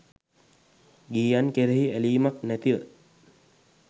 ගිහියන් කෙරෙහි ඇලීමක් නැතිව